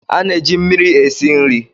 A na-eji mmiri esi nri.